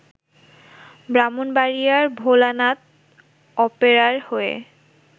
ব্রাহ্মণবাড়িয়ার ভোলানাথ অপেরার হয়ে